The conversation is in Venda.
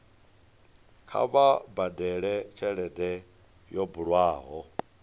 kha vha badele tshelede yo bulwaho